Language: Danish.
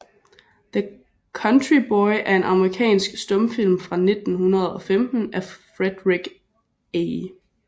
The Country Boy er en amerikansk stumfilm fra 1915 af Frederick A